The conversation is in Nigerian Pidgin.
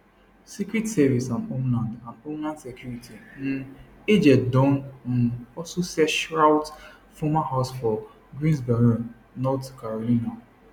secret service and homeland and homeland security um agents don um also search routh former house for greensboro north carolina